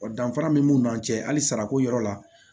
Wa danfara min b'u ni ɲɔgɔn cɛ hali sarako yɔrɔ la